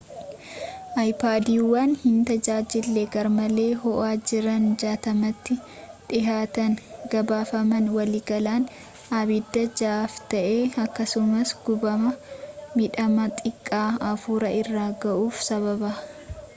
aypaadiiwwan hin tajaajille garmalee hoo’aa jiran 60’tti dhihaatan gabaafaman waliigalaan abidda jahaaf ta’e akkasumas gubama midhama xiqqaa afur irra gahuuf sababa